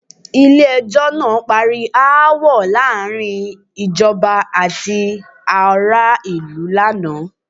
Ilé ẹjọ́ ná parí aáwọ̀ láàárín ìjọba àti ará ìlú laana.